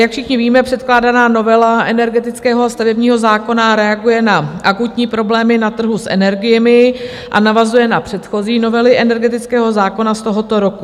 Jak všichni víme, předkládaná novela energetického stavebního zákona reaguje na akutní problémy na trhu s energiemi a navazuje na předchozí novely energetického zákona z tohoto roku.